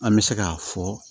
An bɛ se k'a fɔ